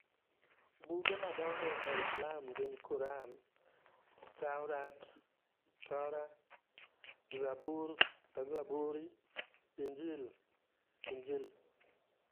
Buge madongo e Islam gin Quran. Tawrat (Torah) Zabur (Zaburi) Injil (Injili)